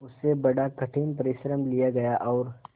उससे बड़ा कठिन परिश्रम लिया गया और